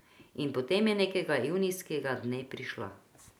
In potem je nekega junijskega dne prišla.